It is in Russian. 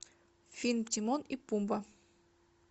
фильм тимон и пумба